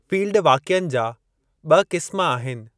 Field वाक़िअनि जा ॿ क़िस्म आहिनि।